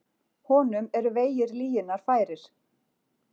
Honum eru vegir lyginnar færir.